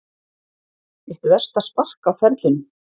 Eitt versta spark á ferlinum